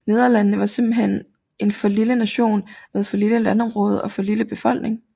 Nederlandene var simpenthen en for lille nation med for lille landområde og for lille befolkning